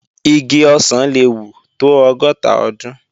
Igi ọ̀sán le wù tó ọgọ́ta ọdún